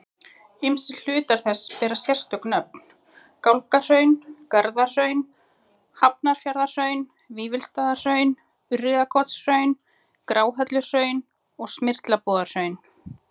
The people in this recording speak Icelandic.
Ýmsir hlutar þess bera sérstök nöfn, Gálgahraun, Garðahraun, Hafnarfjarðarhraun, Vífilsstaðahraun, Urriðakotshraun, Gráhelluhraun, Smyrlabúðarhraun.